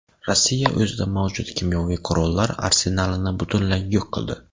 Rossiya o‘zida mavjud kimyoviy qurollar arsenalini butunlay yo‘q qildi.